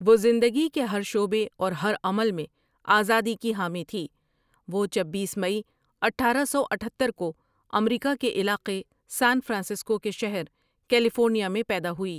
وہ زندگی کے ہر شعبے اور ہر عمل میں آزادی کی حامی تھی وہ چبیس مئی اٹھارہ سو اٹہتر کو امریکا کے علاقے سان فرانسسکو کے شہر کیلی فورنیا میں پیدا ہوئی ۔